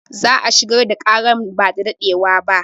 Za a shigar da ƙaran ba da daɗewa ba